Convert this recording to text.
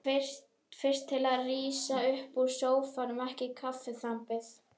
Fyrst til að rísa upp úr sófanum eftir kaffiþambið.